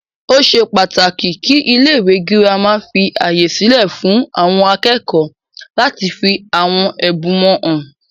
Ó ṣe pàtàkì kí ilé ìwé gírámà fí ààyè sílẹ fún àwọn akẹ́kọ̀ọ́ láti fí àwọn ẹbùn wọn hàn.